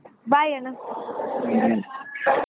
Bye Anna.